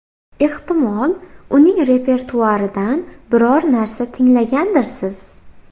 Ehtimol, uning repertuaridan biror narsa tinglagandirsiz?